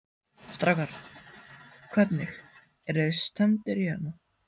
Strákar, hvernig, eruð þið stemmdir hérna?